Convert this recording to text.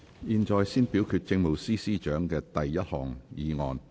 現在先表決政務司司長的第一項議案。